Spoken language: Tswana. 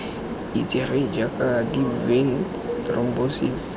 itsegeng jaaka deep vein thrombosis